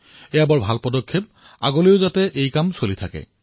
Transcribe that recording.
এয়া অতিশয় সুন্দৰ পদক্ষেপ আৰু আগলৈও যাতে এই কাম চলি থাকে